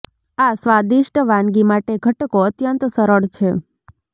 આ સ્વાદિષ્ટ વાનગી માટે ઘટકો અત્યંત સરળ છે